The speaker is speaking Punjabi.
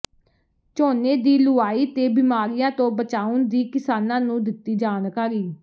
ਝੋਨੇ ਦੀ ਲੁਆਈ ਤੇ ਬਿਮਾਰੀਆਂ ਤੋਂ ਬਚਾਉਣ ਦੀ ਕਿਸਾਨਾਂ ਨੂੰ ਦਿੱਤੀ ਜਾਣਕਾਰੀ